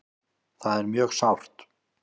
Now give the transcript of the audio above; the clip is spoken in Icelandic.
Það er mjög sárt.